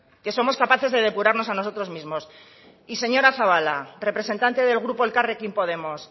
que somos capaces de depurarnos a nosotros mismos y señora zabala representante del grupo elkarrekin podemos